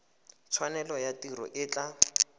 tshwanelo ya tiro e tla